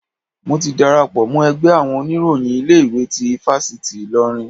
Mo ti darapọ̀ mọ́ ẹgbẹ́ àwọn oníròyìn ilé ìwé tí ifáfitì Ilorin.